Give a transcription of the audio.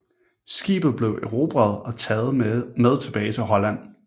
Skibet blev erobret og taget med tilbage til Holland